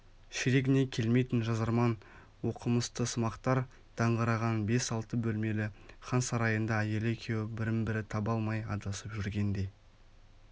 ширегіне келмейтін жазарман оқымыстысымақтар даңғыраған бес-алты бөлмелк хан сарайында әйелі екеуі бірін-бірі таба алмай адасып жүргенде